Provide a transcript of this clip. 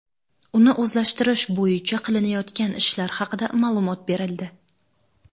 uni o‘zlashtirish bo‘yicha qilinayotgan ishlar haqida ma’lumot berildi.